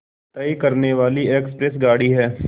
तय करने वाली एक्सप्रेस गाड़ी है